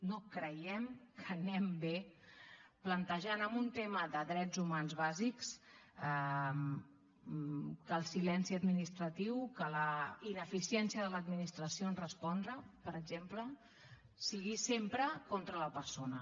no creiem que anem bé plantejant en un tema de drets humans bàsics que el silenci administratiu que la ineficiència de l’administració a respondre per exemple sigui sempre contra la persona